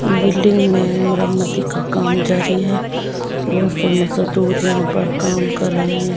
Building में मरामती का काम जारी है बहुत से मजदूर यहां पर काम कर रहे हैं।